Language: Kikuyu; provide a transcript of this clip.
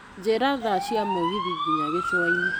Njĩra thaa cia mũgithi nginya Gĩcũa-inĩ.